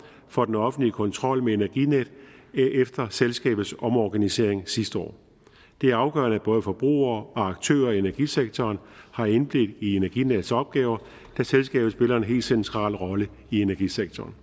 for den offentlige kontrol med energinet efter selskabets omorganisering sidste år det er afgørende at både forbrugere og aktører og energisektoren har indblik i energinets opgaver da selskabet spiller en helt central rolle i energisektoren